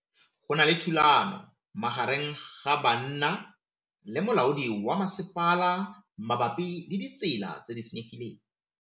Go na le thulanô magareng ga banna le molaodi wa masepala mabapi le ditsela tse di senyegileng.